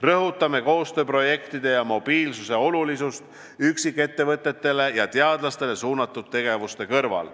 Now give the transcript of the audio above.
Rõhutame koostööprojektide ja mobiilsuse olulisust üksikettevõtetele ja -teadlastele suunatud tegevuste kõrval.